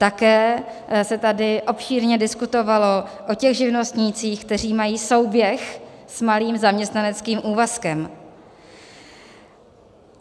Také se tady obšírně diskutovalo o těch živnostnících, kteří mají souběh s malým zaměstnaneckým úvazkem.